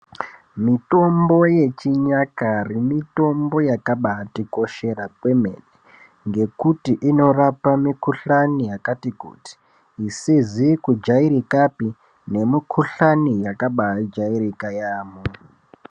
Mitombo yechinyakare mitombo yakabatikoshera zvemene nekuti inorapa mukuhlani yakati kuti isizi kujairikapi nemukuhlani yakabajairika yamhoo